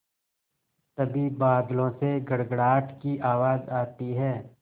तभी बादलों से गड़गड़ाहट की आवाज़ आती है